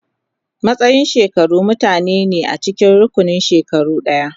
Matsayin shekaru mutane ne a cikin rukunin shekaru ɗaya.